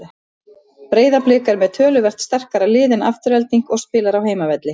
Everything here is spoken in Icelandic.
Breiðablik er með töluvert sterkara lið en Afturelding og spilar á heimavelli.